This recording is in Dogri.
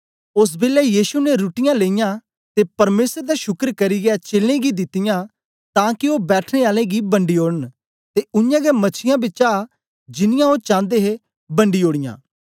ओस बेलै यीशु ने रुट्टीयाँ लेईयां ते परमेसर दा शुकर करियै चेलें गी दितीयां तां के ओ बैठने आलें गी बंडी ओडन ते उयांगै मछीयां बिचा जिनियां ओ चांदे हे बंडी ओड़ीयां